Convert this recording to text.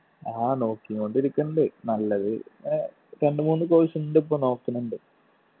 ആ നോക്കീങ്കോണ്ടിരിക്കണ്ട് നല്ലത് ഏർ രണ്ട്‌ മൂന്ന് course ഇണ്ട് ഇപ്പൊ നോക്കിന്നിണ്ട്